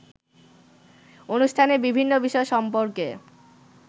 অনুষ্ঠানের বিভিন্ন বিষয় সম্পর্কে